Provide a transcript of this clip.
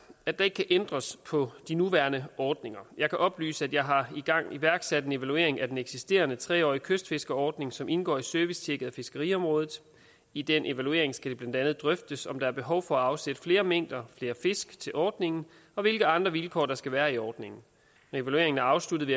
at der ikke kan ændres på de nuværende ordninger jeg kan oplyse at jeg har iværksat en evaluering af den eksisterende tre årige kystfiskerordning som indgår i servicetjekket af fiskeriområdet i den evaluering skal det blandt andet drøftes om der er behov for at afsætte flere mængder flere fisk til ordningen og hvilke andre vilkår der skal være i ordningen når evalueringen er afsluttet